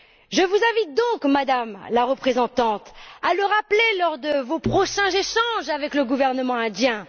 Je vous invite donc, Madame la Haute représentante, à le rappeler lors de vos prochains échanges avec le gouvernement indien.